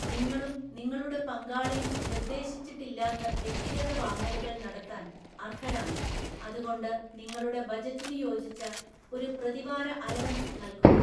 നിങ്ങളും നിങ്ങളുടെ പങ്കാളിയും നിർദ്ദേശിച്ചിട്ടില്ലാത്ത വ്യക്തിഗത വാങ്ങലുകൾ നടത്താൻ അർഹരാണ്, അതുകൊണ്ട് നിങ്ങളുടെ ബജറ്റിനു യോജിച്ച ഒരു പ്രതിവാര അലവൻസ് നൽകുക.